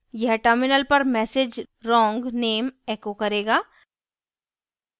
यह terminal पर message wrong name echo करेगा